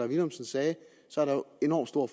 villumsen sagde enormt stor